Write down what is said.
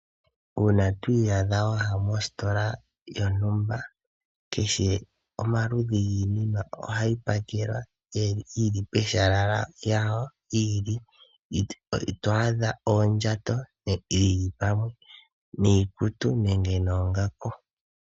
Uuna twi iyadha waya mositola yontumba keshe omaludhi giinima ohayi pakelwa yili peshala lyawo li ili , ito adha oondjato dhili pamwe niikutu nenge noongaku